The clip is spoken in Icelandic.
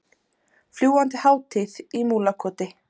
Fljúgandi hátíð í Múlakoti